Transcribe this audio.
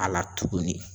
A la tuguni